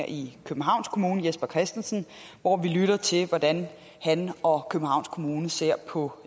i københavns kommune jesper christensen hvor vi lyttede til hvordan han og københavns kommune ser på